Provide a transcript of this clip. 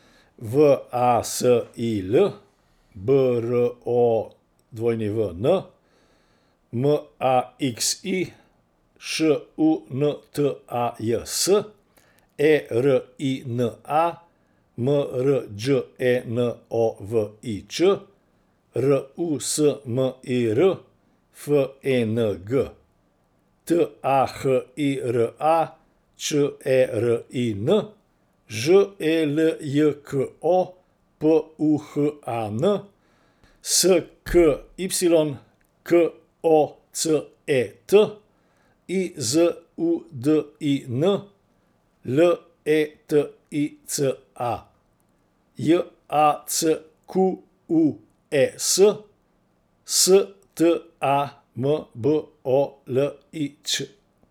V A S I L, B R O W N; M A X I, Š U N T A J S; E R I N A, M R Đ E N O V I Ć; R U S M I R, F E N G; T A H I R A, Č E R I N; Ž E L J K O, P U H A N; S K Y, K O C E T; I Z U D I N, L E T I C A; J A C Q U E S, S T A M B O L I Ć.